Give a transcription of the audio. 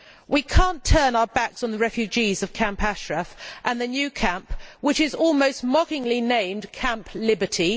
We cannot turn our backs on the refugees of Camp Ashraf and the new camp, which is almost mockingly named Camp Liberty.